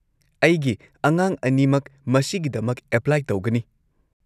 ꯑꯩꯒꯤ ꯑꯉꯥꯡ ꯑꯅꯤꯃꯛ ꯃꯁꯤꯒꯤꯗꯃꯛ ꯑꯦꯄ꯭ꯂꯥꯏ ꯇꯧꯒꯅꯤ꯫